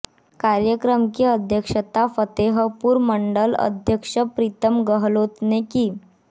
कार्यक्रम की अध्यक्षता फतेहपुर मण्डल अध्यक्ष प्रीतम गहलोत ने की